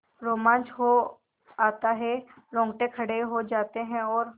रोमांच हो आता है रोंगटे खड़े हो जाते हैं और